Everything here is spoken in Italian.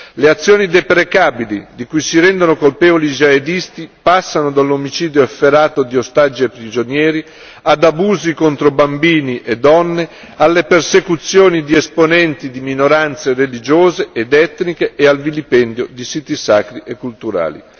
Le azioni deprecabili di cui si rendono colpevoli i jihadisti passano dall'omicidio efferato di ostaggi e prigionieri, ad abusi contro bambini e donne, alla persecuzione di esponenti di minoranze religiose ed etniche e al vilipendio di siti sacri e culturali.